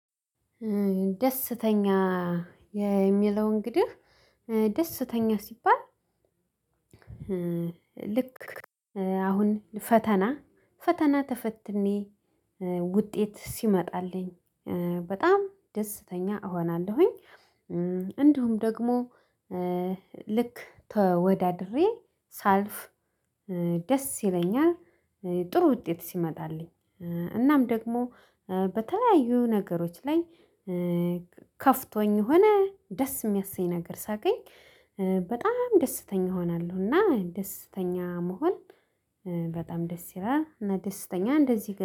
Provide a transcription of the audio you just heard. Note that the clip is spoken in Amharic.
ደስተኛ የሚለው እንግዲህ ደስተኛ ሲባል ልክ አሁን ፈተና ፈተና ተፈትኜ ውጤት ሲመጣልኝ በጣም ደስተኛ እሆናለሁኝ። እንደውም ደግሞ ልክ ተወዳድሬ ሳልፍ ደስ ይለኛል። ጥሩ ውጤት ሲመጣልኝ እናም ደግሞ በተለያዩ ነገሮች ላይ ከፍቶኝ ሆነ ደስ የሚያሰኝ ነገር ሳገኝ በጣም ደስተኛ እሆናለሁ። እና ደስተኛ መሆን በጣም ደስ ይላል እና ደስተኛ እንደዚህ